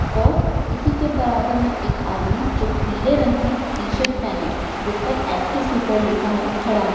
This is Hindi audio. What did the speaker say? और इसी के बराबर में एक आदमी जो पीले रंग की टी-शर्ट पेहने जिस पर एस.के. सुपर लिखा है खड़ा है।